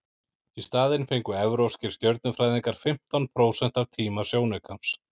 í staðinn fengu evrópskir stjörnufræðingar fimmtán prósent af tíma sjónaukans